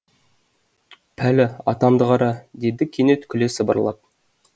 пәлі атамды қара деді кенет күле сыбырлап